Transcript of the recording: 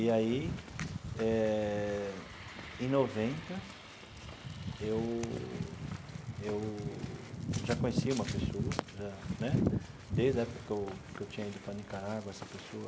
E aí eh, em noventa, eu eu já conhecia uma pessoa já né, desde a época que eu que eu tinha ido para a Nicarágua, essa pessoa,